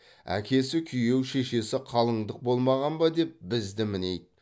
әкесі күйеу шешесі қалыңдық болмаған ба деп бізді мінейді